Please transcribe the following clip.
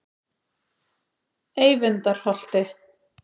Eyvindarholti